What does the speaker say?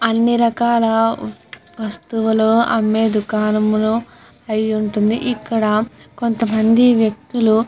అన్ని రకాల వస్తువులు అమ్మే దుకాణము అయ్యి ఉంటుంది ఇక్కడ కొంత మంది వ్యక్తులు --